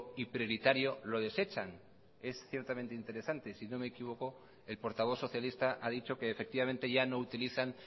y prioritario lo desechan es ciertamente interesante y si no me equivoco el portavoz socialista ha dicho que efectivamente ya no utilizan